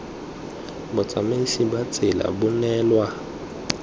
botsamaisi ba tsela bo neelwa